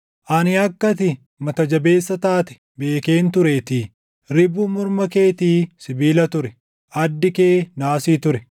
Ani akka ati mata jabeessa taate beekeen tureetii; ribuun morma keetii sibiila ture; addi kee naasii ture.